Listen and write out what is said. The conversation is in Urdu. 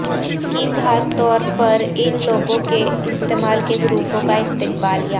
کی خاص طور پر ان لوگوں کے استعمال کے گروپوں کا استقبالیہ